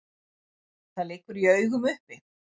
Það liggur í augum uppi.